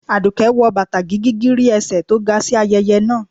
aduke wọ batá gígígírí ésẹ tó ga si ayẹyẹ naa